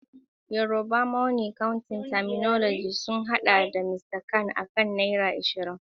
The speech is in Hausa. Yorùbá money counting terminology sun haɗa da "Mr kan" akan naira ashirin.